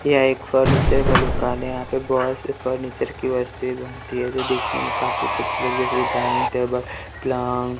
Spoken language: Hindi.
यह एक फर्नीचर का दुकान है यहां पे बहोत से फर्नीचर की वस्तुएँ बनती है जो दिखने में काफी खूबसूरत जैसे डाइनिंग टेबल प्लांग ।